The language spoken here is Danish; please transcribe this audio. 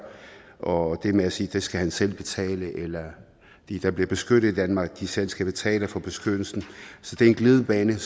og det med at sige at det skal han selv betale eller at de der bliver beskyttet i danmark selv skal betale for beskyttelsen er en glidebane og